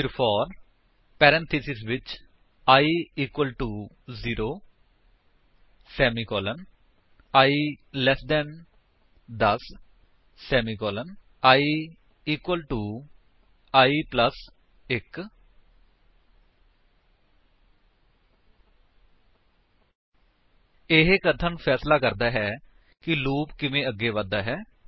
ਫਿਰ for parenthesis ਵਿੱਚ i equal to 0 semicolon i less than 10 semicolon i equal to i plus 1 ਇਹ ਕਥਨ ਫ਼ੈਸਲਾ ਕਰਦਾ ਹੈ ਕਿ ਲੂਪ ਕਿਵੇਂ ਅੱਗੇ ਵਧਦਾ ਹੈ